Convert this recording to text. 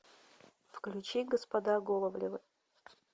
включи господа головлевы